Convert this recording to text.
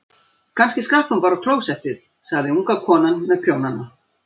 Kannski skrapp hún bara á klósettið, sagði unga konan með prjónana.